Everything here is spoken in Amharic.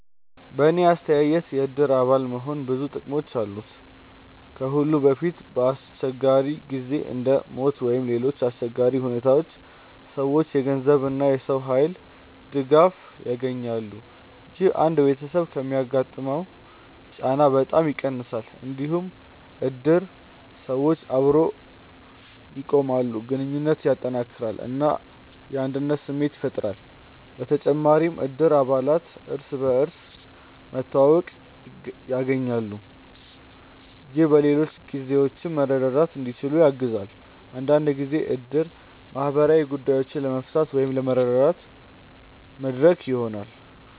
በእኔ አስተያየት የእድር አባል መሆን ብዙ ጥቅሞች አሉት። ከሁሉ በፊት በአስቸጋሪ ጊዜ እንደ ሞት ወይም ሌሎች አሰቸጋሪ ሁኔታዎች ሰዎች የገንዘብ እና የሰው ኃይል ድጋፍ ያገኛሉ። ይህ አንድ ቤተሰብ የሚያጋጥመውን ጫና በጣም ይቀንሳል። እንዲሁም እድር ሰዎችን አብሮ ያቆማል፣ ግንኙነትን ያጠናክራል እና የአንድነት ስሜት ያፈጥራል። በተጨማሪም እድር አባላት እርስ በርስ መተዋወቅ ያገኛሉ፣ ይህም በሌሎች ጊዜዎችም መርዳት እንዲችሉ ያግዛል። አንዳንድ ጊዜ እድር ማህበራዊ ጉዳዮችን ለመፍታት ወይም ለመረዳት መድረክ ይሆናል።